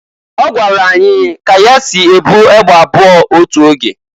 Ọgwara anyị ka ya si e bu egbe abụọ otu oge.